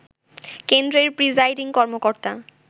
কেন্দ্রের প্রিজাইডিং কর্মকর্তা